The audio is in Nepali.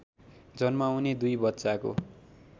जन्माउने दुई बच्चाको